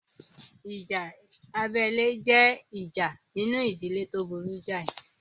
Ìjà abẹ́lé jẹ́ ìjà inú ìdílé tó burú jáì